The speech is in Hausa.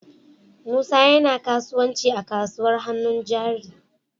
Musa yana kasuwanci a kasuwar hannun jari.